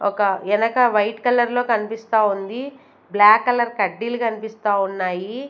ఒక ఎనక వైట్ కలర్లో కనిపిస్తా ఉంది బ్లాక్ కలర్ కడ్డీలు కనిపిస్తా ఉన్నాయి.